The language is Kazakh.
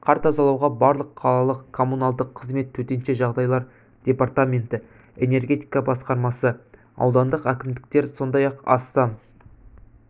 қар тазалауға барлық қалалық коммуналдық қызмет төтенше жағдайлар департаменті энергетика басқармасы аудандық әкімдіктер сондай-ақ астам